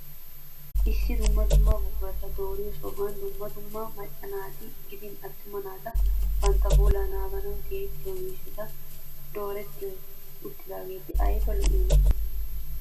Issi dumma dumma buqurata dooriyo sohuwan dumma dumma macca naati gidin attuma naati bantta puulaa naaganawu tiyettiyo miishshati dooretti uttidaageeti ayiba lo'iyonaa!